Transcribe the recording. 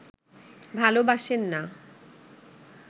ভালোবাসেন না